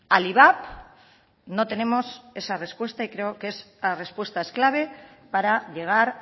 al ivap no tenemos esa respuesta y creo que esa respuesta es clave para llegar